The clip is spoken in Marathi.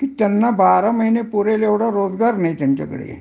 कि त्यांना बारा महिने पुरेल एवढा रोजगार नाही त्यांच्याकडे